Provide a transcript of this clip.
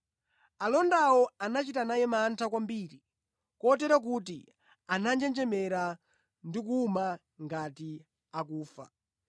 Alondawo anachita naye mantha kwambiri kotero kuti ananjenjemera ndi kuwuma ngati akufa.